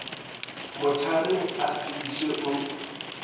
motšhareng a se išwe o